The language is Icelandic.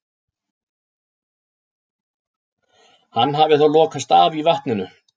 Hann hafi þá lokast af í vatninu.